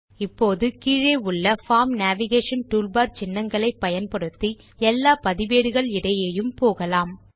இப்போது கீழே உள்ள பார்ம் நேவிகேஷன் டூல்பார் சின்னங்களை பயன்படுத்தி எல்லா பதிவேடுகள் இடையேயும் போகலாம்